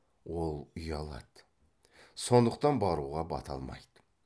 ол ұялады сондықтан баруға бата алмайды